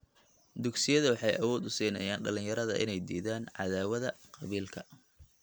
Dugsiyada waxay awood u siinayaan dhalinyarada inay diidaan cadaawadda qabiilka.